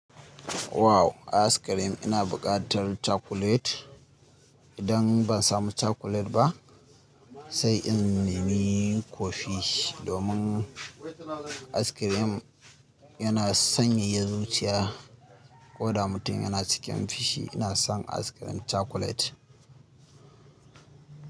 Wow! Ice cream ina buƙatar chocolate. Idan ban samu chocolate ba, sai in nemi cofee domin ice cream yana sanyaya zuciya. Ko da mutum yana cikin fushi, ina son ice cream chocolate.